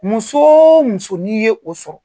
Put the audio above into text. Muso o muso n'i ye o sɔrɔ.